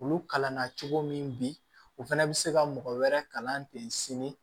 Olu kalan na cogo min bi u fɛnɛ bi se ka mɔgɔ wɛrɛ kalan ten sini